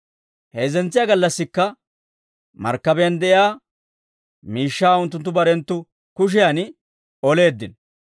Heezzentsiyaa gallassikka markkabiyaan de'iyaa miishshaa unttunttu barenttu kushiyan oleeddino.